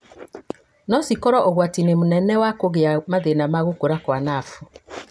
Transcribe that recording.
no cikorwo ũgwati-inĩ mũnene wa kũgĩa mathĩna ma gũkũra kwa nabu